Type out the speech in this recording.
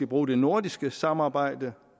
bruge det nordiske samarbejde